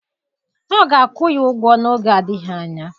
Ọ ga-akwụ ya ụgwọ n'oge adịghị anya.